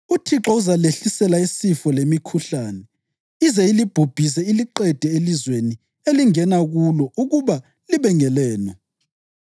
UThixo uzalehlisela isifo lemikhuhlane ize ilibhubhise iliqede elizweni elingena kulo ukuba libe ngelenu.